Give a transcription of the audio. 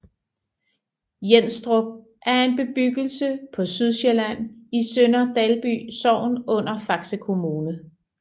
Jenstrup er en bebyggelse på Sydsjælland i Sønder Dalby Sogn under Faxe Kommune